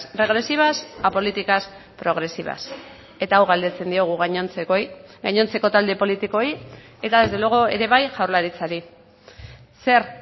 regresivas a políticas progresivas eta hau galdetzen diogu gainontzekoei gainontzeko talde politikoei eta desde luego ere bai jaurlaritzari zer